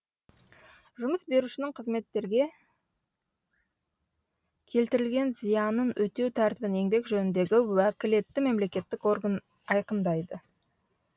жұмыс берушінің қызметкерге келтірілген зиянын өтеу тәртібін еңбек жөніндегі уәкілетті мемлекеттік орган айқындайды